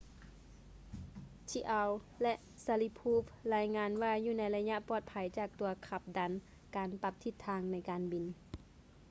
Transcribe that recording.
chiao ແລະ sharipov ລາຍງານວ່າຢູ່ໃນໄລຍະປອດໄພຈາກຕົວຂັບດັນການປັບທິດທາງໃນການບິນ